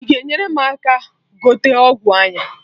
I ga enyere m aka gote ọgwụ anya?